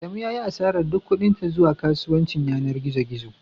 Adamu ya yi asarar duk kuɗin sa zuwa kasuwancin yanar gizo gizo